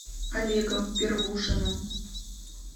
олегом первушиным